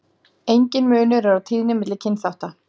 Enginn munur er á tíðni milli kynþátta.